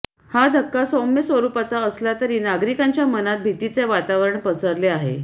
हा धक्का सौम्य स्वरुपाचा असला तरी नागरिकांच्या मनात भीतीचे वातावरण पसरले आहे